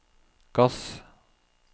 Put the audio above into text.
gass